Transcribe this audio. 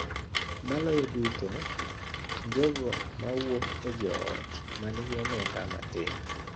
Maloyo duto, jogo ma wuok e joot ma nigi omenda matin.